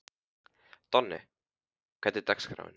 Donni, hvernig er dagskráin?